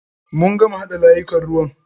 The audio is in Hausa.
Mun gama haɗa layukan ruwan.